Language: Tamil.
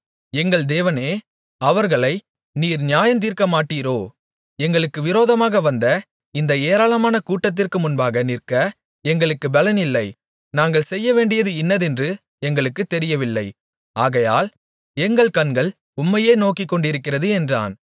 எங்கள் தேவனே அவர்களை நீர் நியாயந்தீர்க்கமாட்டீரோ எங்களுக்கு விரோதமாக வந்த இந்த ஏராளமான கூட்டத்திற்கு முன்பாக நிற்க எங்களுக்கு பெலனில்லை நாங்கள் செய்யவேண்டியது இன்னதென்று எங்களுக்குத் தெரியவில்லை ஆகையால் எங்கள் கண்கள் உம்மையே நோக்கிக்கொண்டிருக்கிறது என்றான்